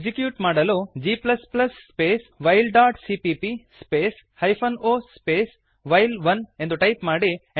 execute ಮಾಡಲು g space while dot CPP space hyphen O space while one ಎಂದು type ಮಾಡಿ